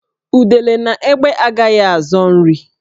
Udele na egbé agaghị azọ nri